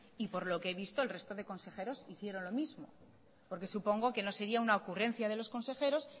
y por lo que he visto el resto de consejeros inicieron lo mismo porque supongo que no sería una ocurrencia de los consejeros